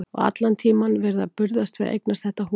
Og allan tímann verið að burðast við að eignast þetta hús.